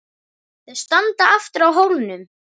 Þau standa aftur á hólnum.